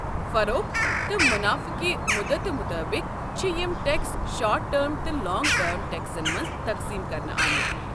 فروخت تہٕ منافعہٕ کہِ مُدتہٕ مُطٲبق چھِ یم ٹٮ۪کس شارٹ ٹٔرم تہٕ لانٛگ ٹٔرم ٹٮ۪کسن منٛز تقسیٖم كرنہٕ آمٕتۍ۔